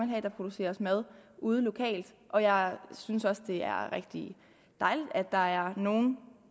have at der produceres mad ude lokalt og jeg synes også at det er rigtig dejligt at der er nogle